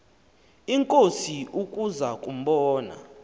inkosi ukuza kumbona